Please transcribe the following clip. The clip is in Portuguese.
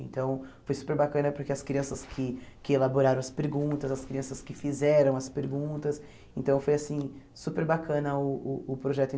Então foi super bacana, porque as crianças que que elaboraram as perguntas, as crianças que fizeram as perguntas, então foi assim super bacana uh o projeto em